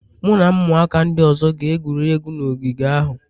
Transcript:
Mụ na ụmụaka ndị ọzọ ga-egwuri egwu na ogige ahụ